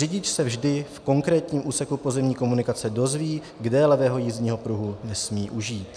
Řidič se vždy v konkrétním úseku pozemní komunikace dozví, kde levého jízdního pruhu nesmí užít.